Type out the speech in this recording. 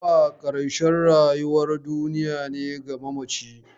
Mutuwa ƙarshen rayuwar duniya ne ga mamaci.